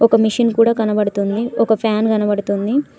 ఒక మెషిన్ కూడా కనపడుతుంది ఒక ఫ్యాన్ కనపడుతుంది.